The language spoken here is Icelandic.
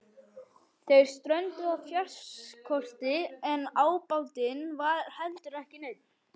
Þeir strönduðu á fjárskorti en ábatinn var heldur ekki neinn.